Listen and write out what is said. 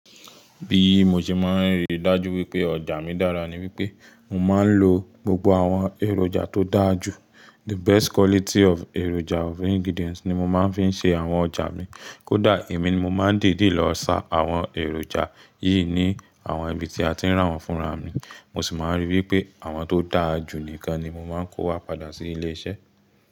Bí mo ṣe máa ń rí dájú wípé ọjà mi dára ni wípé mo máa ń lo gbogbo àwọn èròjà tó dáa jù. The best quality of èròjà of ingredients ni mo máa ń fi ń ṣe àwọn ọjà mi. Kódà èmi ni mo máa ń dèédè lọ sa àwọn èròjà yìí ní àwọn ibi tí a ti ń rà wọ́n fúnra mi. Mo sì máa ń rí wípé àwọn tó dáa jù nìkan ni mo máa ń kó wá padà sí ilé iṣẹ́.